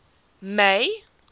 may